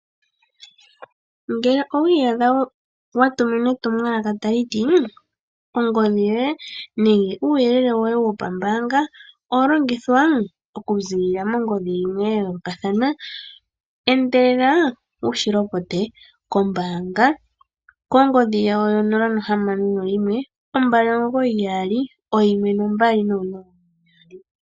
Ngele owi iyadha wa tuminwa etumwalaka taliti ongodhi yoye nenge uuyelele woye wopambaanga owa longithwa oku ziilila mongodhi yimwe ya yoolokathana endelela wushi lopote kombaanga kongodhi yawo yo 0612991200